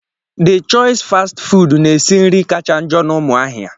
De chois fastị fụụdụ na-esi nri kacha njọ na Umuahia.